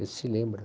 Esse lembra.